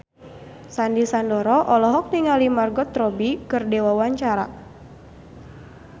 Sandy Sandoro olohok ningali Margot Robbie keur diwawancara